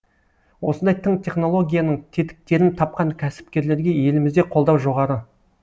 осындай тың технологияның тетіктерін тапқан кәсіпкерлерге елімізде қолдау жоғары